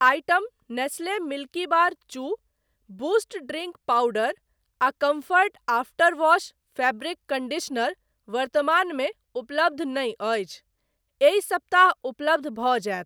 Item Nestle Milkybar चू, Boost drink powder आ Comfort after wash fabric conditioner वर्तमानमे उपलब्ध नहि अछि, एहि सप्ताह उपलब्ध भ जायत।